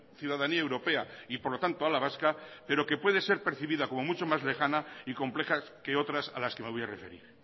ciudadanía europea y por lo tanto a la vasca pero que puede ser percibida como mucho más lejana y complejas que otras a las que me voy a referir